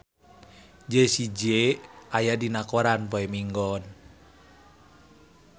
Jessie J aya dina koran poe Minggon